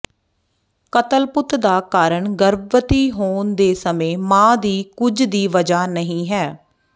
ਕਤਲਪੁੱਤ ਦਾ ਕਾਰਨ ਗਰਭਵਤੀ ਹੋਣ ਦੇ ਸਮੇਂ ਮਾਂ ਦੀ ਕੁੱਝ ਦੀ ਵਜ੍ਹਾ ਨਹੀਂ ਹੈ